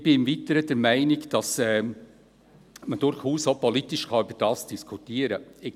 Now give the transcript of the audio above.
Ich bin im Weiteren der Meinung, dass man durchaus auch politisch darüber diskutieren kann.